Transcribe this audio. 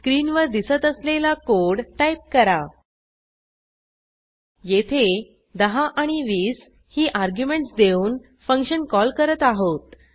स्क्रीनवर दिसत असलेला कोड टाईप करा येथे 10 आणि 20 ही अर्ग्युमेंटस देऊन फंक्शन कॉल करत आहोत